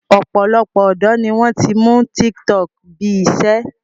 Ọ̀pọ̀lọpọ̀ ọ̀dọ́ ni wọ́n ti mú tiktok bí i iṣẹ́